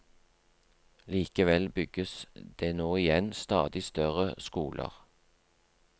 Likevel bygges det nå igjen stadig større skoler.